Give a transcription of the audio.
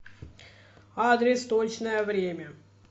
адрес точное время